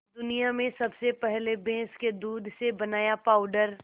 दुनिया में सबसे पहले भैंस के दूध से बनाया पावडर